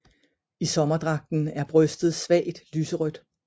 I sommerdragten er brystet svagt lyserødt